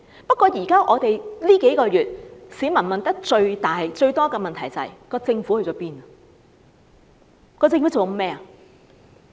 不過，這數個月來市民問得最多的問題，就是政府去了哪裏？